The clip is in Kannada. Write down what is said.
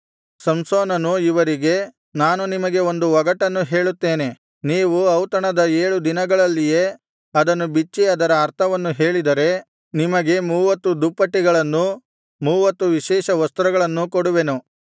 ಸಂಸೋನನು ಇವರಿಗೆ ನಾನು ನಿಮಗೆ ಒಂದು ಒಗಟನ್ನು ಹೇಳುತ್ತೇನೆ ನೀವು ಔತಣದ ಏಳು ದಿನಗಳಲ್ಲಿಯೇ ಅದನ್ನು ಬಿಚ್ಚಿ ಅದರ ಅರ್ಥವನ್ನು ಹೇಳಿದರೆ ನಿಮಗೆ ಮೂವತ್ತು ದುಪ್ಪಟಿಗಳನ್ನೂ ಮೂವತ್ತು ವಿಶೇಷವಸ್ತ್ರಗಳನ್ನೂ ಕೊಡುವೆನು